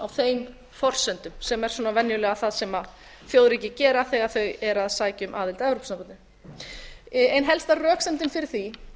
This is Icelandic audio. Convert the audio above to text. þeim forsendum sem er svona venjulega það sem þjóðríki gera þegar þau eru að sækja um aðild að evrópusambandinu ein helsta röksemdin fyrir því